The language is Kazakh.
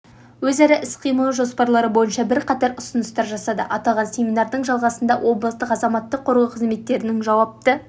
өзара іс-қимылы жоспарлары бойынша бірқатар ұсыныстар жасады аталған семинардың жалғасында облыстық азаматтық қорғау қызметтерінің жауапты